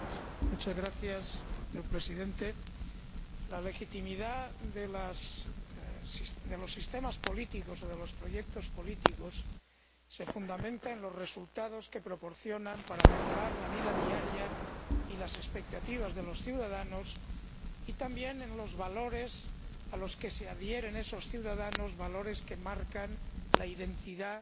Señor Presidente, la legitimidad de los sistemas políticos, o de los proyectos políticos, se fundamenta en los resultados que proporcionan para mejorar la vida diaria y las expectativas de los ciudadanos, y también en los valores a los que se adhieren esos ciudadanos, valores que marcan la identidad